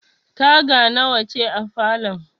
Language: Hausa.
Taga nawa ce a falon?